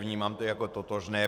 Vnímám to jako totožné.